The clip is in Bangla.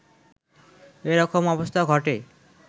এ রকম অবস্থা ঘটে